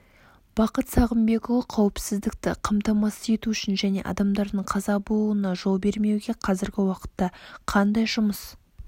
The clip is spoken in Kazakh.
бақыт сағынбекұлы қауіпсіздікті қамтамасыз ету үшін және адамдардың қаза болуына жол бермеуге қазіргі уақытта қандай жұмыс